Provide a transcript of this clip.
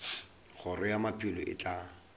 kgoro ya maphelo e tla